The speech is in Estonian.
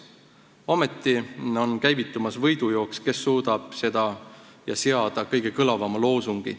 Ometi on käivitumas võidujooks, kes suudab seada kõige kõlavama loosungi.